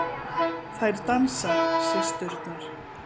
Þær dansa, systurnar.